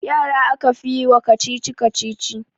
Yara aka fi yi wa kacici-kacici